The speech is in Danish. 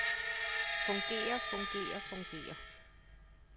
fungerer fungerer fungerer